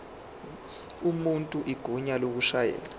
umuntu igunya lokushayela